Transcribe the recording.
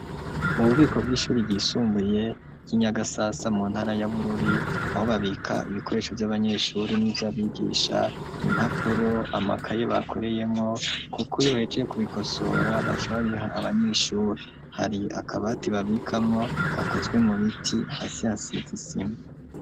Mu bubiko bw'ishuri ryisumbuye ryi nyagasasa mu ntara y'abururi aho babika ibikoresho vy'abanyeshure n'ivyabigisha impapuro amakaye bakoreshamwo kuko iyo bahejeje kubikosora baca babiha abanyeshure hari akabati babikamwo gakozwe mu biti hasi hasize isima.